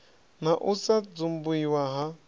na u sa dzumbiwa ha